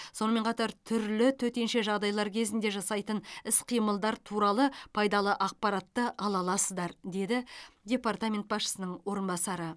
сонымен қатар түрлі төтенше жағдайлар кезінде жасайтын іс қимылдар туралы пайдалы ақпаратты ала аласыздар деді департамент басшысының орынбасары